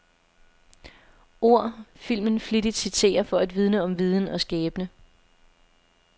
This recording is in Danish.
Ord, filmen flittigt citerer for at vidne om viden og skæbne.